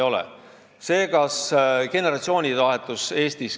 Nüüd sellest, kas Eestis käib generatsioonivahetus.